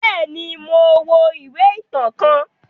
Bẹẹni, Mo wo ìwé ìtàn kàn